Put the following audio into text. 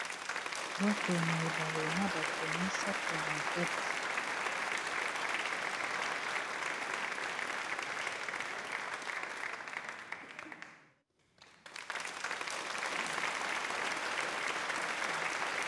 Bwato na ebale na batu misatu ,nakati.